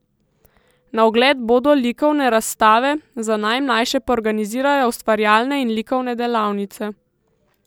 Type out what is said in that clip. Na ogled bodo likovne razstave, za najmlajše pa organizirajo ustvarjalne in likovne delavnice.